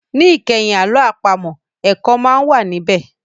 Ní ìkẹyìn àlọ́ àpamọ̀, ẹ̀kọ́ máa ń wà ní bẹ̀